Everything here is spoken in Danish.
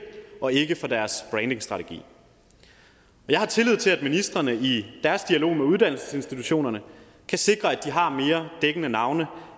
og ikke for deres brandingstrategi jeg har tillid til at ministrene i deres dialog med uddannelsesinstitutionerne kan sikre at de har mere dækkende navne